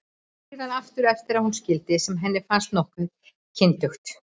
Og síðan aftur eftir að hún skildi, sem henni fannst nokkuð kyndugt.